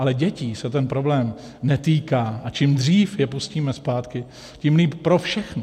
Ale dětí se ten problém netýká, a čím dřív je pustíme zpátky, tím líp pro všechny.